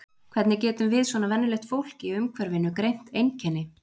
Hvernig getum við svona venjulegt fólk í umhverfinu greint einkenni?